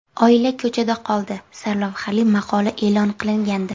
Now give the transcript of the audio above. Oila ko‘chada qoldi” sarlavhali maqola e’lon qilingandi.